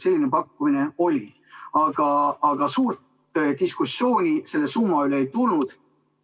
Selline pakkumine oli, aga suurt diskussiooni selle summa üle ei tulnud.